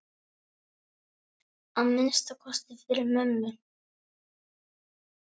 Að minnsta kosti fyrir mömmu.